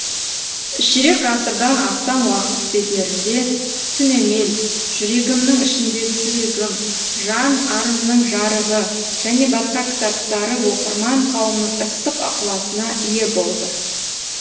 ширек ғасырдан астам уақыт бедерінде түнемел жүрегімнің ішіндегі жүрегім жан арымның жарығы және басқа кітаптары оқырман қауымның ыстық ықыласына ие болды